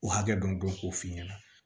O hakɛ dɔ dɔn k'o f'i ɲɛna